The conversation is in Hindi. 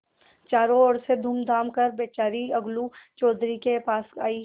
चारों ओर से घूमघाम कर बेचारी अलगू चौधरी के पास आयी